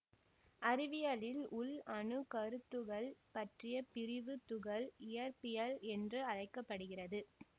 அறிவியலில் உள் அணுக்கருத்துகள் பற்றிய பிரிவு துகள் இயற்பியல் என்று அழைக்க படுகிறது